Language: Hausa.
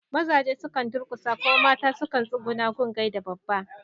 Mazaje sukan durƙusa kuma mata sukan tsugunna su gaida babba.